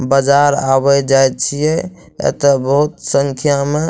बाजार आवे जाए छिए एते बहुत संख्या मे --